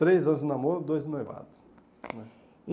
Três anos de namoro, dois de noivado né. E